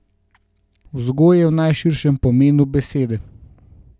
Vzgoje v najširšem pomenu besede.